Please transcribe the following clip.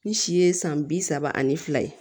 Ni si ye san bi saba ani fila ye